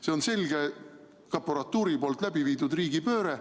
See on selge, prokuratuuri läbiviidud riigipööre.